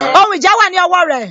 Ohun ìjà wà ní ọwọ rẹ